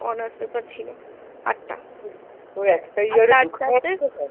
honours paper ছিল আটটা